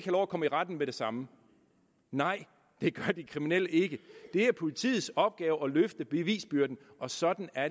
lov at komme i retten med det samme nej det gør de kriminelle ikke det er politiets opgave at løfte bevisbyrden og sådan er